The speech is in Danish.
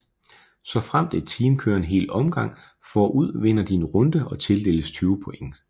Såfremt et team kører en hel omgang forud vinder de en runde og tildeles 20 points